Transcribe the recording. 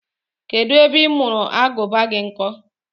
Kedụ ebe ị mụrụ Agụba gị nkọ?